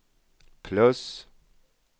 plus